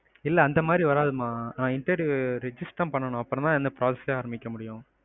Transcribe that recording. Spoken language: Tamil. இல்ல அந்தமாதிரி வரதுமா. நான் interview register பண்ணதுக்கப்பறம் தான் process யே ஆரம்பிக்க முடியும்.